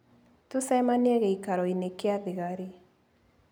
Tũcemanie gĩikaro-inĩ kĩa thigari.